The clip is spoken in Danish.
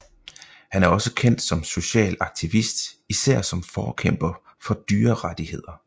Han er også kendt som social aktivist især som forkæmper for dyrerettigheder